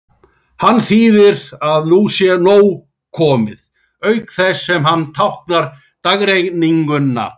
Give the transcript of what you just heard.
Hann þýðir að nú sé nóg komið, auk þess sem hann táknar dagrenninguna.